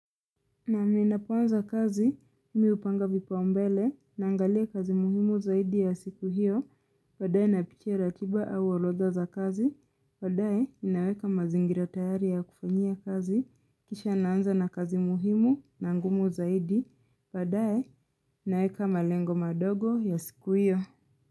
Nam ninapoanza kazi, mi hupanga vipaumbele, naangalia kazi muhimu zaidi ya siku hiyo, baadae napitia ratiba au orotha za kazi, baadae naweka mazingira tayari ya kufanyia kazi, kisha naanza na kazi muhimu na ngumu zaidi, baadae naweka malengo madogo ya siku hiyo.